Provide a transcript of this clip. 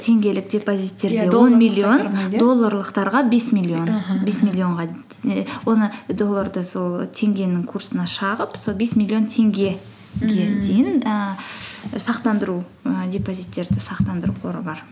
теңгелік депозиттерде долларлықтарға аха аха бес миллионға оны долларды сол теңгенің курсына шағып сол бес миллион теңгеге дейін ііі і депозиттерді сақтандыру қоры бар